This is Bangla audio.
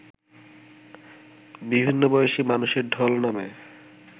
বিভিন্ন বয়সী মানুষের ঢল নামে